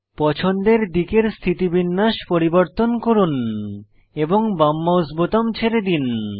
পছন্দের দিকের স্থিতিবিন্যাস পরিবর্তন করুন এবং বাম মাউস বোতাম ছেড়ে দিন